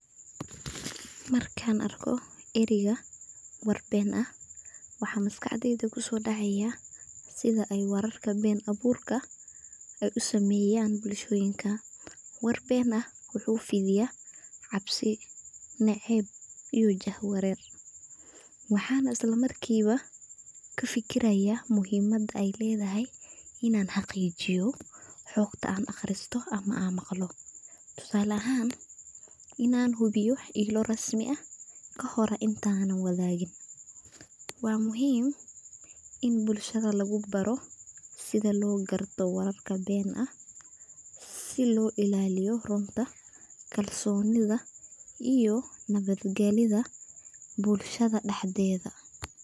Markan arko ereyga War Ben ah waxaa maskaxdeda kuso dhacaya sida ay wararka Ben abuurka ay u sameeyan bulshoyinka, war ben ah wuxuu fidiya cabsi, naceeb iyo jaha wareer, waxana isla markiiba kafikiraya muhiimada ay ledahay inan xaqiijiyo xugta an aqristo ama an maqlo, tusaale ahan inan hubiyo egmo rasmi ah kahore intanan wadagin, waa muhiim in bulshada lugu baro sida loo garto wararka benta ah, si loo illaliyo runta kalsonida iyo nabad gelyada bulshada dhaxdeeda